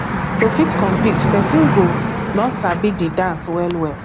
to fit compete person go don sabi di dance well well